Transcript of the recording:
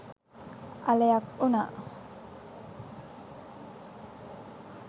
අලයක් උනා.